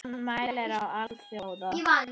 Hann mælir á alþjóða